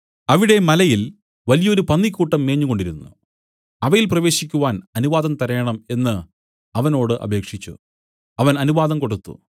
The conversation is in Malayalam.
അവിടെ മലയിൽ വലിയൊരു പന്നിക്കൂട്ടം മേഞ്ഞുകൊണ്ടിരുന്നു അവയിൽ പ്രവേശിക്കുവാൻ അനുവാദം തരേണം എന്നു അവനോട് അപേക്ഷിച്ചു അവൻ അനുവാദം കൊടുത്തു